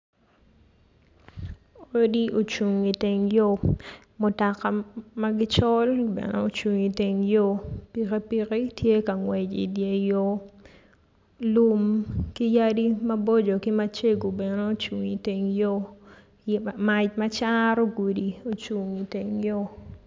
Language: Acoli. Odi ocung i teng yo mutoka ma gicol bene ocung i teng yo pikipiki tye ka ngwec i dye yo lum ki yadi maboco bene ocung i teng yo mac macaro gudi ocung i teng yo.